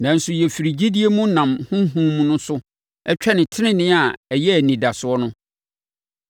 Nanso yɛfiri gyidie mu nam Honhom no so twɛne tenenee a yɛn ani da soɔ no.